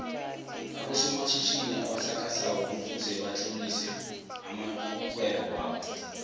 aboso matjhitjhini obasakha soko kufuze batlolise amoihwebo wobo